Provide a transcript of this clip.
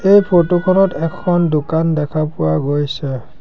এই ফটো খনত এখন দোকান দেখা পোৱা গৈছে।